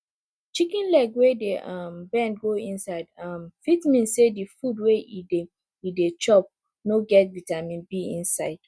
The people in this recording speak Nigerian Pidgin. chicken leg wey dey um bend go inside um fit mean say di food wey e dey e dey chop no get vitamin b inside